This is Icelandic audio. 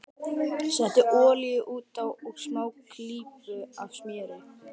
Settu olíu út á og smá klípu af smjöri.